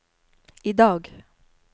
idag